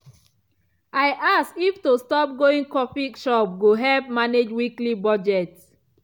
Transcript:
i ask if to stop going coffee shop go help manage weekly budget.